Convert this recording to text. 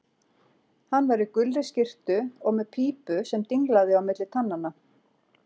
Hann var í gulri skyrtu og með pípu sem dinglaði á milli tannanna.